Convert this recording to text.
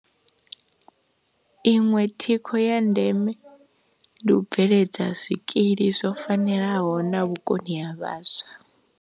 Iṅwe thikho ya ndeme ndi u bveledza zwikili zwo fanelaho na vhukoni ha vhaswa.